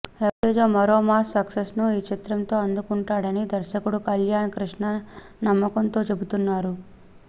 రవితేజ మరో మాస్ సక్సెస్ను ఈ చిత్రంతో అందుకుంటాడని దర్శకుడు కళ్యాణ్ కృష్ణ నమ్మకంతో చెబుతున్నాడు